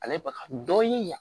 Ale baga dɔɔni